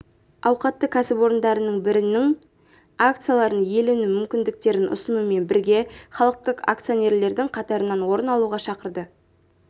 ауқатты кәсіпорындарының бірінің акцияларын иелену мүмкіндіктерін ұсынумен бірге халықтық акционерлердің қатарынан орын алуға шақырды